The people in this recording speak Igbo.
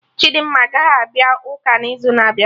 Chidimma agaghị abịa ụka n'izu na-abịa